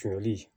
Jɔli